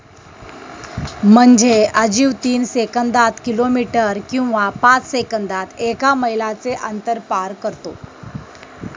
म्हणजे अजीव तीन सेकंदात किलोमीटर किंवा पाच सेकंदात एका मैलाचे अंतर पार करतो.